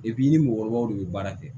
i ni mɔgɔkɔrɔbaw de bɛ baara kɛ